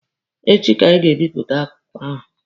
Echi ka anyị ga-ebipụta akụkọ ahụ.